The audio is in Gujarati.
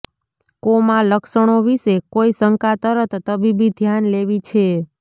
કોમા લક્ષણો વિશે કોઇ શંકા તરત તબીબી ધ્યાન લેવી છે